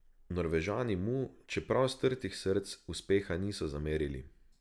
Norvežani mu, čeprav strtih src, uspeha niso zamerili.